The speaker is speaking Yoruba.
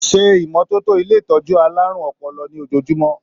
Se ìmọ́tótó ilé ìtọjú àlárún ọpọlọ ní ojoojumọ!.